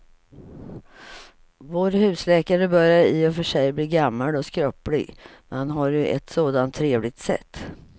Vår husläkare börjar i och för sig bli gammal och skröplig, men han har ju ett sådant trevligt sätt!